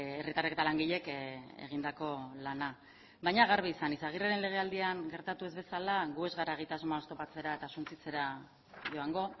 herritarrek eta langileek egindako lana baina garbi izan izaguirreren legealdian gertatu ez bezala gu ez gara egitasmoa oztopatzera eta suntsitzera joango